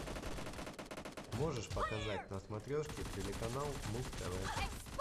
можешь показать на смотрешке телеканал муз тв